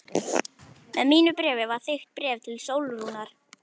Með mínu bréfi var þykkt bréf til Sólrúnar.